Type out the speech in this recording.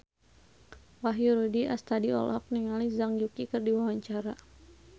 Wahyu Rudi Astadi olohok ningali Zhang Yuqi keur diwawancara